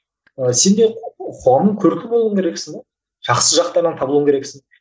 ы сенде қоғамның көркі болуың керексің жақсы жақтардан табылуың керексің